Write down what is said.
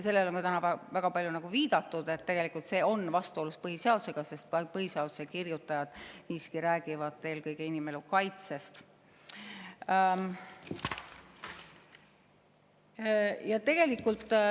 Sellele on täna väga palju viidatud, et tegelikult on see põhiseadusega vastuolus, sest põhiseaduse kirjutajad räägivad eelkõige inimelu kaitsest.